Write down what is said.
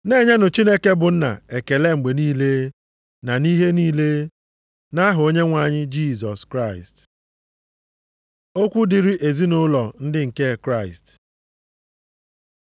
Na-enyenụ Chineke bụ Nna ekele mgbe niile na nʼihe niile, nʼaha Onyenwe anyị Jisọs Kraịst. Okwu dịrị ezinaụlọ ndị nke Kraịst